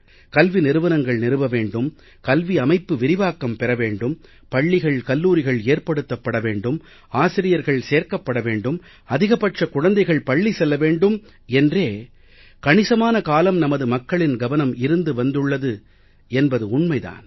கல்வி நிறுவனங்கள் நிறுவ வேண்டும் கல்வி அமைப்பு விரிவாக்கம் பெற வேண்டும் பள்ளிகள் கல்லூரிகள் ஏற்படுத்தப்பட வேண்டும் ஆசிரியர்கள் சேர்க்கப்பட வேண்டும் அதிகபட்ச குழந்தைகள் பள்ளி செல்ல வேண்டும் என்றே கணிசமான காலம் நமது மக்களின் கவனம் இருந்து வந்துள்ளது என்பதும் உண்மை தான்